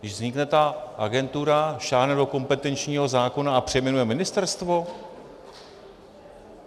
Když vznikne ta agentura, sáhne do kompetenčního zákona a přejmenuje ministerstvo?